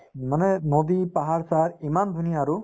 মানে নদী পাহাৰ-চাহাৰ ইমান ধুনীয়া আৰু